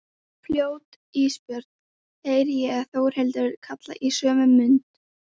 Fljót Ísbjörg, heyri ég Þórhildi kalla í sömu mund.